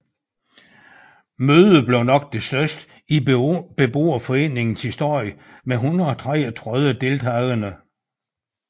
Mødet blev det nok største i beboerforeningens historie med 133 deltagende